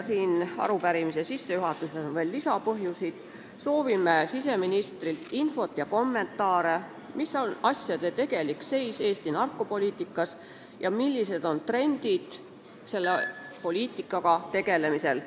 Nendel põhjustel soovime siseministrilt infot ja kommentaare, milline on asjade tegelik seis Eesti narkopoliitikas ja millised on trendid selle poliitikaga tegelemisel.